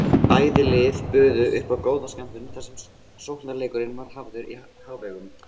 Bæði lið buðu uppá góða skemmtun þar sem sóknarleikurinn var hafður í hávegum.